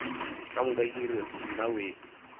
ka moka di re nnawee